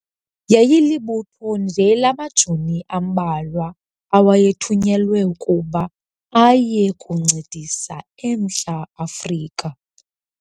Yayilibutho nje lamajoni ambalwa awayethunyelwe ukuba aye kuncedisa eMntla Afrika.